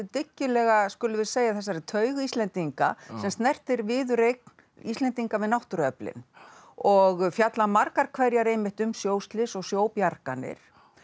dyggilega skulum við segja þessari taug Íslendinga sem snertir viðureign Íslendinga við náttúruöflin og fjalla margar hverjar einmitt um sjóslys og sjóbjarganir